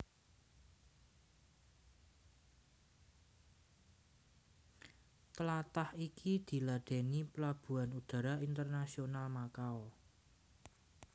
Tlatah iki diladèni Palabuhan Udara Internasional Makau